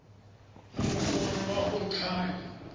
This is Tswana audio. la mokoro wa go thaya